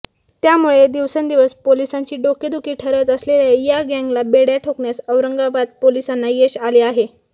त्यामुळे दिवसेंदिवस पोलिसांची डोकेदुखी ठरत असलेल्या या गँगला बेड्या ठोकण्यास औरंगाबाद पोलिसांना यश आलं आहे